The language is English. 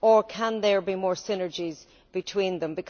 Can there be more synergies between them?